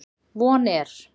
Von er